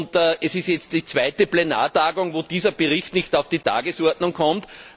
Und es ist jetzt die zweite Plenartagung, wo dieser Bericht nicht auf die Tagesordnung kommt.